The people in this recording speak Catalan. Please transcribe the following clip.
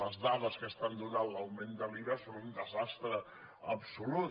les dades que estan donant de l’augment de l’iva són un desastre absolut